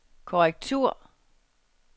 korrektur